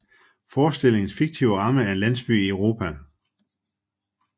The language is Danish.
Forestillingens fiktive ramme er en landsby i Europa